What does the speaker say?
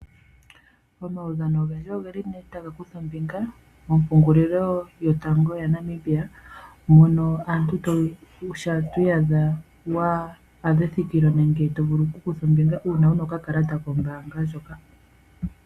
Omaudhano ogendji ogeli nduno taga kutha ombinga mompungulilo yotango yaNamibia, mono omuntu shampa twi iyadha wa adha ethikilo ngenge tovulu okukutha ombinga uuna una okakalata kombaanga ndjoka.